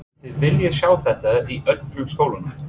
Mynduð þið vilja sjá þetta í öllum skólanum?